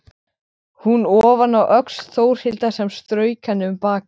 Hún ofaná öxl Þórhildar sem strauk henni um bakið.